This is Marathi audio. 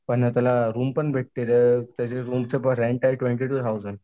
पण त्याला रुमपण भेटते त्याच्या रूमची रेंट आहे ट्वेंटी टू थाऊसंड.